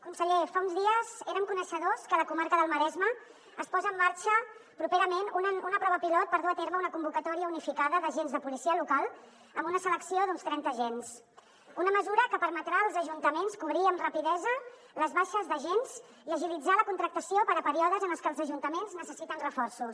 conseller fa uns dies érem coneixedors que a la comarca del maresme es posa en marxa properament una prova pilot per dur a terme una convocatòria unificada d’agents de policia local amb una selecció d’uns trenta agents una mesura que permetrà als ajuntaments cobrir amb rapidesa les baixes d’agents i agilitzar la contractació per a períodes en els que els ajuntaments necessiten reforços